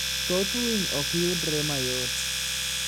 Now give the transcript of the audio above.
Thoth winy ok yudre mayot.